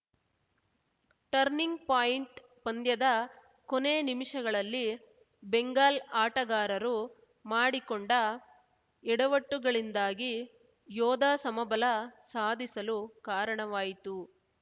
turning point ಪಂದ್ಯದ ಕೊನೆ ನಿಮಿಷಗಳಲ್ಲಿ ಬೆಂಗಾಲ್‌ ಆಟಗಾರರು ಮಾಡಿಕೊಂಡ ಎಡವಟ್ಟುಗಳಿಂದಾಗಿ ಯೋಧಾ ಸಮಬಲ ಸಾಧಿಸಲು ಕಾರಣವಾಯಿತು